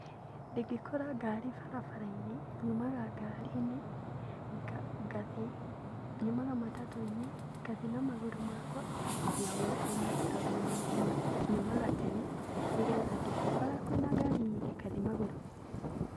Ingĩkora ngari barabara-inĩ nyumaga ngari-inĩ, ngathiĩ, nyumaga matatũinĩ ngathiĩ na magũrũ makwa nginya wĩrainĩ tondũ nyumaga tene nĩ getha ingĩkora kwĩna ngari nyingĩ ngathiĩ magũrũ.